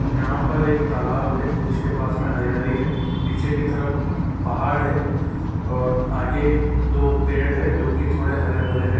यहाँ पर एक तालाब हैं जिसके पास में हरियाली हैं पीछे की तरफ पहाड़ हैं और आगे दो पेड़ हैं हो की थोड़े हरे भरे हैं।